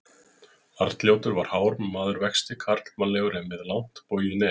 Arnljótur var hár maður vexti, karlmannlegur en með langt bogið nef.